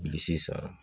Bilisi san